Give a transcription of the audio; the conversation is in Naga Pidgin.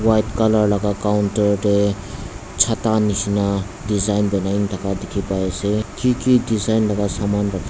white colour laga counter dae chata neshina design banaikena thaka dekhe pai ase keke design bana saman.